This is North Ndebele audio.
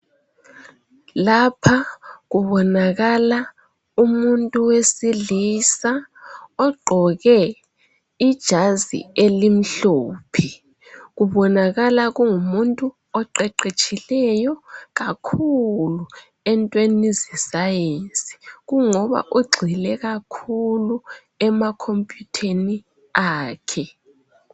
Lapha kubonakala umuntu wesilisa ogqoke ijazi elimhlophe. Kubonakala Kungumuntu oqeqetshileyo kakhulu entweni zesayensi, kungoba ugxile kakhulu emakhompuyutheni akhe.